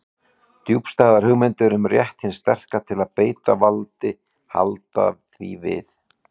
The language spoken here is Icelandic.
Djúpstæðar hugmyndir um rétt hins sterka til að beita valdi halda því við.